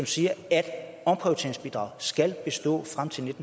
sige at omprioriteringsbidraget skal bestå frem til